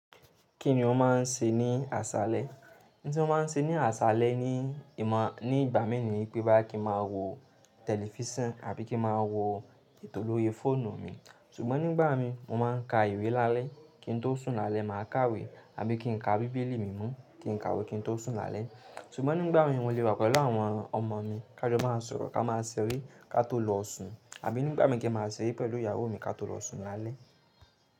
Kí ni o má a n ṣe ní àṣálẹ́? N tí wọ́n má a n ṣe ní àṣálẹ́ ni, ìmọ̀ ní ìgbà mi ni pé bá kí máa wo tẹlifísàn àbí kí máa wo ètò lórí fóònù mi. Sugbọn nígbà mi mo má a n ka ìwé lálẹ́ kí ń tó sùn lálẹ́, mà a ká ìwé àbí kí n ka bíbélì mimo tí n ká ìwé kí ń tó sùn lálẹ́. Sugbọn nígbà mi mò le wa pelu àwọn ọmọ mi ká jọ má a sọ̀rọ̀ ká má a ṣeré ká tó lọ sùn. Àbí nígbà mi kí n má a ṣeré pẹ̀lú ìyàwó mi ká tó lọ sùn lálẹ́.